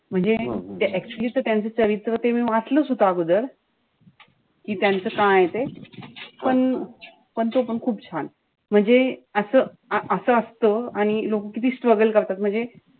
म्हणजे actually त्यांचं चरित्र ते मी वाचलंच होत अगोदर. कि त्यांचं काय ए ते. पण-पण तो पण खूप छान. म्हणजे आजच असं असत. आणि लोक किती struggle करतात. म्हणजे,